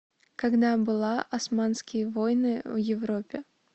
когда была османские войны в европе